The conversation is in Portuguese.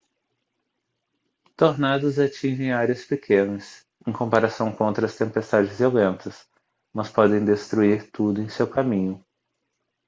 tornados atingem áreas pequenas em comparação com outras tempestades violentas mas podem destruir tudo em seu caminho